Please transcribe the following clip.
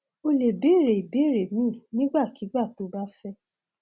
o lè béèrè ìbéèrè míì nígbàkigbà tó o bá fẹ